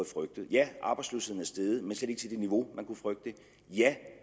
frygtet ja arbejdsløsheden er steget men slet ikke til det niveau man kunne frygte ja